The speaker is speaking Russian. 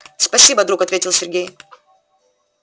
спасибо друг ответил сергей